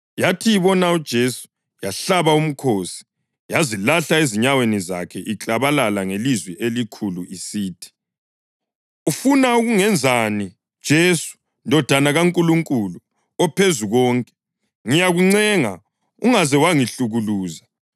Yathi ibona uJesu yahlaba umkhosi yazilahla ezinyaweni zakhe iklabalala ngelizwi elikhulu isithi, “Ufuna ukungenzani, Jesu, Ndodana kaNkulunkulu oPhezukonke? Ngiyakuncenga, ungaze wangihlukuluza!”